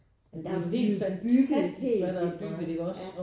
Men der er jo blevet bygget helt vildt meget ja